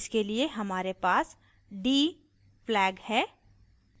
इसके लिए हमारे पास d flag है